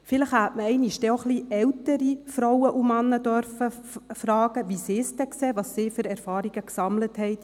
Vielleicht hätte man auch ein wenig ältere Frauen und Männer fragen dürfen, wie sie es sehen, welche Erfahrungen sie gesammelt haben.